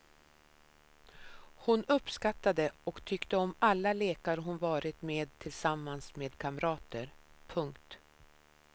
Hon uppskattade och tyckte om alla lekar hon varit med tillsammans med kamrater. punkt